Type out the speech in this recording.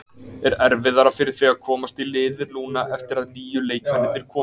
Er erfiðara fyrir þig að komast í liðið núna eftir að nýju leikmennirnir komu?